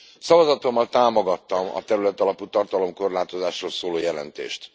Szavazatommal támogattam a területalapú tartalomkorlátozásról szóló jelentést.